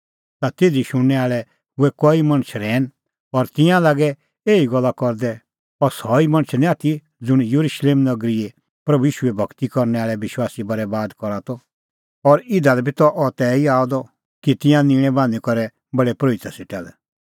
ता तिधी शुणनै आल़ै हुऐ कई मणछ रहैन और तिंयां लागै एही गल्ला करदै अह सह ई मणछ निं आथी ज़ुंण येरुशलेम नगरीए प्रभू ईशूए भगती करनै आल़ै विश्वासी बरैबाद करा त और इधा लै बी त अह तैही आअ द कि तिंयां निंणै बान्हीं करै प्रधान परोहिता सेटा लै